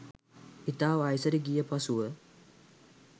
ඉතා වයසට ගිය පසුව